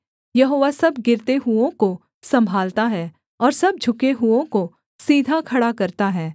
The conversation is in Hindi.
यहोवा सब गिरते हुओं को सम्भालता है और सब झुके हुओं को सीधा खड़ा करता है